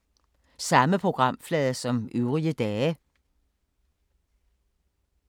Samme programflade som øvrige dage